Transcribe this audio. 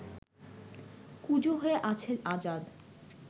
কুঁজো হয়ে আছে আজাদ